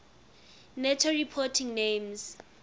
nato reporting names